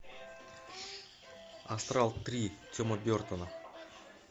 астрал три тима бертона